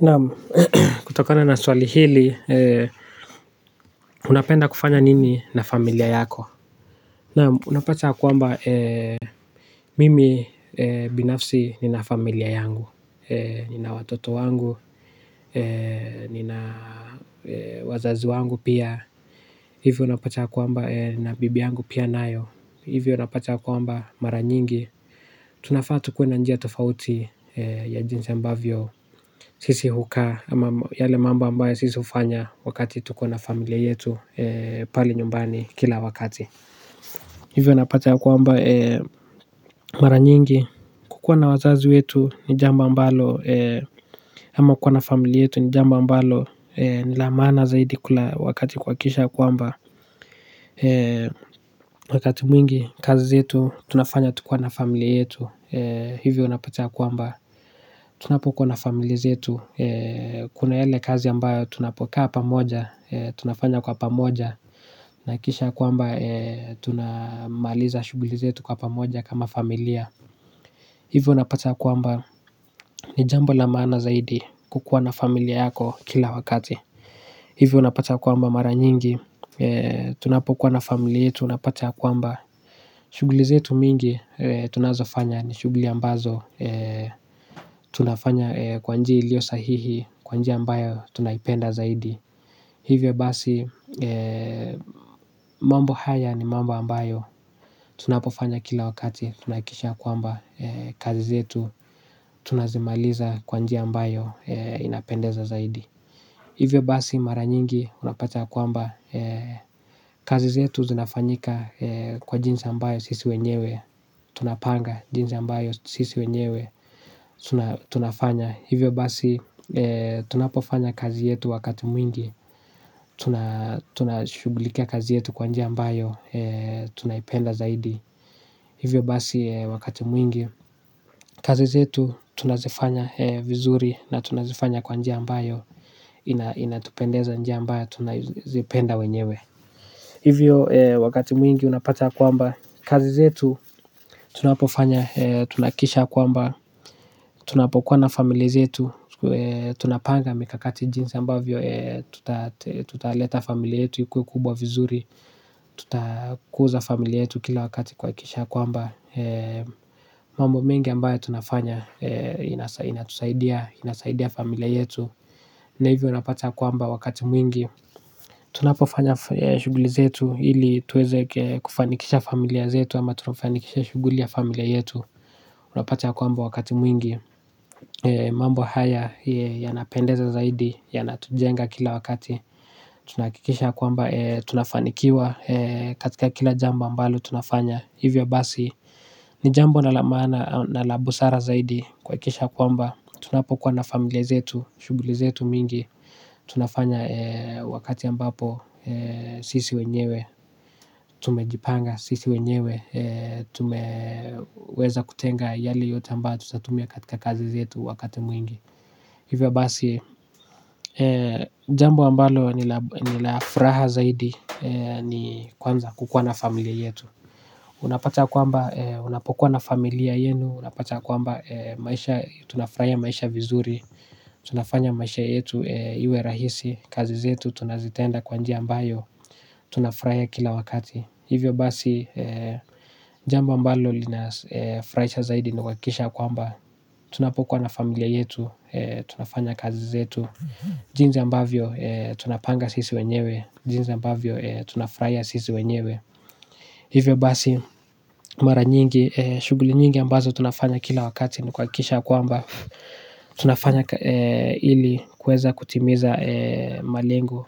Naam, kutokana na swali hili, unapenda kufanya nini na familia yako? Naam, unapataa ya kwamba, mimi binafsi nina familia yangu, nina watoto wangu, nina wazazi wangu pia, hivyo unapata ya kwamba, nina bibi yangu pia nayo, hivyo unapata kwamba mara nyingi, tunafaa tukue na njia tofauti ya jinsi ambavyo, sisi hukaa ama yale mambo ambayo sisi hufanya wakati tukona familia yetu pale nyumbani kila wakati, hivyo napata ya kwamba mara nyingi kukuwa na wazazi wetu ni jambo ambalo, ama uko na familia yetu ni jambo ambalo, ni la maana zaidi kula wakati kuhakikisha ya kwamba, wakati mwingi kazi zetu tunafanya tukiwa na familia yetu hivyo napata ya kwamba tunapokuwa na familia zetu, kuna yale kazi ambayo tunapokaa pamoja, tunafanya kwa pamoja na kisha ya kwamba tunamaliza shughuli zetu kwa pamoja kama familia, hivyo unapata ya kwamba ni jambo la maana zaidi kukuwa na familia yako kila wakati. Hivyo unapata kwamba mara nyingi, tunapokuwa na familia yetu unapata kwamba shughuli zetu mingi tunazofanya ni shughuli ambazo tunafanya kwa njia ilioyo sahihi kwa njia ambayo tunaipenda zaidi. Hivyo basi, mambo haya ni mambo ambayo tunapofanya kila wakati tunahakikisha kwamba kazi zetu tunazimaliza kwa njia ambayo inapendeza zaidi. Hivyo basi mara nyingi unapata ya kwamba, kazi zetu zinafanyika kwa jinsi ambayo sisi wenyewe, tunapanga jinsi ambayo sisi wenyewe, tunafanya. Hivyo basi tunapofanya kazi yetu wakati mwingi, tunashughulikia kazi yetu kwa njia ambayo. Tunaipenda zaidi. Hivyo basi wakati mwingi, kazi zetu tunazifanya vizuri na tunazifanya kwa njia ambayo, inatupendeza, njia ambayo tunazipenda wenyewe. Hivyo wakati mwingi unapata kwamba kazi zetu tunapofanya tunahakikisha kwamba tunapokuwa na familia zetu tunapanga mikakati jinsi ambavyo, tutaleta familia yetu ikuwe kubwa vizuri, tutakuza familia yetu kila wakati kuhakikisha kwamba, mambo mengi ambayo tunafanya inatusaidia familia yetu na hivyo unapata ya kwamba wakati mwingi tunapofanya shughuli zetu ili tuweze kufanikisha familia zetu ama tunafanikisha shughuli ya familia yetu, unapata ya kwamba wakati mwingi, mambo haya yanapendeza zaidi yanatujenga kila wakati, tunahakikisha ya kwamba, tunafanikiwa katika kila jambo ambalo tunafanya. Hivyo basi ni jambo la maana na la busara zaidi kuhakikisha kwamba tunapo kuwa na familia zetu, shughuli zetu mingi tunafanya wakati ambapo, sisi wenyewe tumejipanga. Sisi wenyewe tumeweza kutenga yale yote ambayo, tutatumia katika kazi zetu wakati mwingi. Hivyo basi, jambo ambalo ni la furaha zaidi ni kwanza kukua na familia yetu. Unapata kwamba tunafurahiya maisha vizuri. Tunafanya maisha yetu iwe rahisi. Kazi zetu tunazitenda kwa njia ambayo tunafurahiya kila wakati. Hivyo basi, jambo ambalo linafurahisha zaidi ni kuhakikisha ya kwamba tunapokuwa na familia yetu tunafanya kazi zetu jinsi ambavyo tunapanga sisi wenyewe. Jinza ambavyo tunafraya sisi wenyewe. Hivyo basi mara nyingi, shughuli nyingi ambazo tunafanya kila wakati ni kuhakikisha ya kwamba tunafanya ili kuweza kutimiza malengo